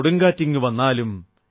കൊടുങ്കാറ്റിങ്ങു വന്നാലും